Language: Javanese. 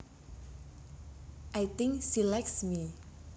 I think she likes me